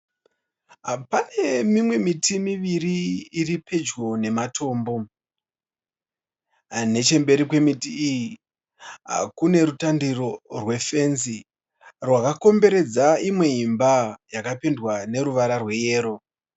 Pane mimwe miti miviri iri pedyo nematombo. Nechemberi kwemiti iyi , kune rutandiro rwe fenzi rwakakomberedza imwe imba yaka pendewa neruvara rwe yero.